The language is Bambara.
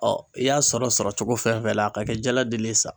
i y'a sɔrɔ sɔrɔ cogo fɛn fɛn la a ka kɛ jala deli ye sa.